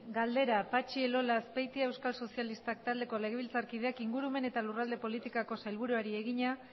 galdera patxi elola azpeitia euskal sozialistak taldeko legebiltzarkideak ingurumen eta lurralde politikako sailburuari egina